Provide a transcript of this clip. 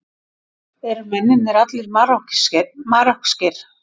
Eru mennirnir allir Marokkóskir